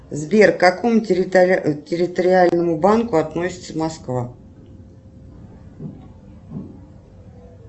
сбер к какому территориальному банку относится москва